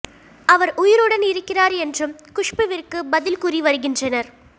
அவர் உயிருடன் இருக்கிறார் என்றும் குஷ்புவிற்கு பதில் கூறி வருகின்றனர்